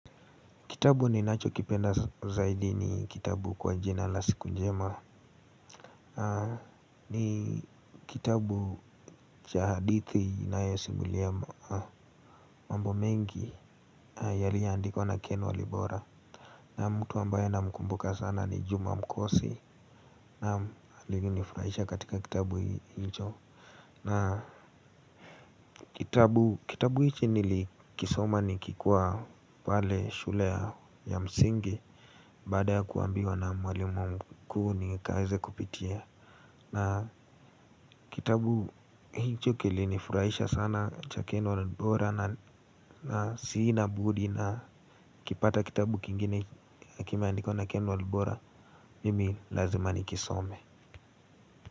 Kitabu ninacho kipenda zaidi, ni kitabu kwa jina la siku njema. Ni kitabu cha hadithi inayosimulia. Mambo mengi yaliyoandikwa na ken walibora. Na mtu ambayo namkumbuka sana ni Juma Mukosi. Naam, alivyo nifuraisha katika kitabu hicho. Na kitabu, kitabu hichi nilikisoma nikiwa pale shule ya msingi. Baada ya kuambiwa na mwalimu mkuu nikaweze kupitia. Na kitabu hicho kilinifurahisha sana cha Ken walibora. Na sinabudi na nikipata kitabu kingine kimeandikwa na Ken walibora, Mimi lazima nikisome.